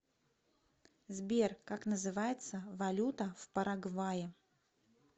сбер как называется валюта в парагвае